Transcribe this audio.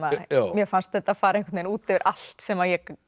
mér fannst þetta fara út yfir allt sem ég